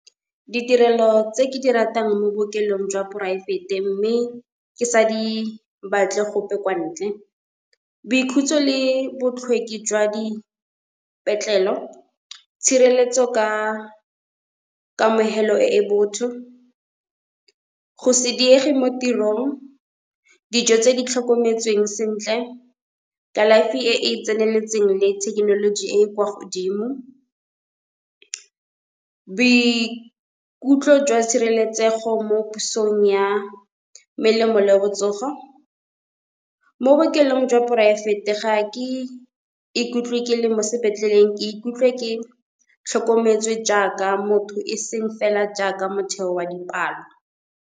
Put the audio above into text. Ditirelo tse ke di ratang mo bookelong jwa poraefete mme ke sa di batle gope kwa ntle. Boikhutso le botlhweki jwa dipetlelo, tshireletso ka kamogelo e e botho, go se diege mo tirong, dijo tse di tlhokometsweng sentle, kalafi e e tseneletseng le thekenoloji e e kwa godimo. Boikutlo jwa tshireletsego mo pusong ya melemo le botsogo. Mo bookelong jwa poraefete ga ke ikutlwe ke le mo sepetleleng, ke ikutlwa ke tlhokometswe jaaka motho e seng fela jaaka motheo wa dipalo.